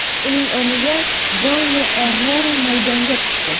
Uning o‘rniga Jonni Errera maydonga tushdi.